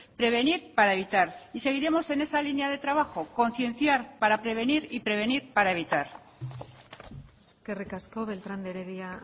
prevenir para evitar y seguiremos en esa línea de trabajo concienciar para prevenir y prevenir para evitar eskerrik asko beltrán de heredia